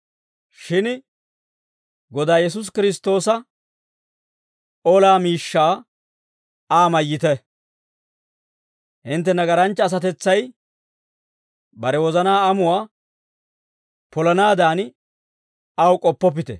Shin Godaa Yesuusi Kiristtoosa, olaa miishshaa Aa mayyite; hintte nagaranchcha asatetsay bare wozanaa amuwaa polanaadan, aw k'oppoppite.